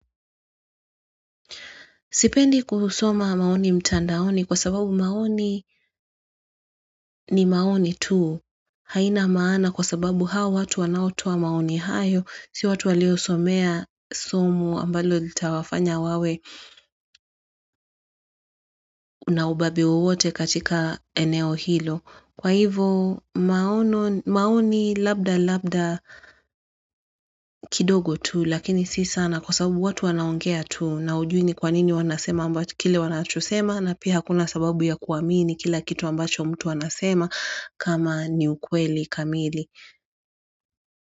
Sipendi kusoma maoni mtandaoni kwa sababu maoni ni maoni tu aina maana kwa sababu hao watu wanaotoa maoni hayo si watu waliosomea somo ambalo litawafanya wawe na ubabi wowote katika eneo hilo. Kwa hivo maoni labda labda kidogo tu lakini si sana kwa sababu watu wanaongea tu na hujui ni kwa nini wanasema ambacho kile wanachosema na pia hakuna sababu ya kuamini kila kitu ambacho mtu anasema kama ni ukweli kamili.